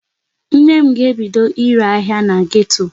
Nne m ga-ebido ire ire ahịa na geto.